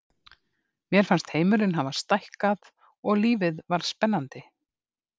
Mér fannst heimurinn hafa stækkað og lífið varð spennandi.